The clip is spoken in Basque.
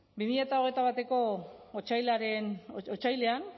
bi mila hogeita batko otsailean